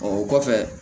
O kɔfɛ